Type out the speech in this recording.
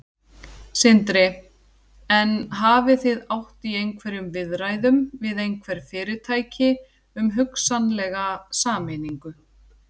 Sindri: En hafið þið átt í einhverjum viðræðum við einhver fyrirtæki um hugsanlega sameiningu?